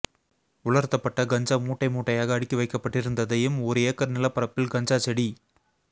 உலர்த்தப்பட்ட கஞ்சா மூட்டை மூட்டையாக அடுக்கி வைக்கப்பட்டிருந்ததையும் ஒரு ஏக்கர் நிலப்பரப்பில் கஞ்சா செ டி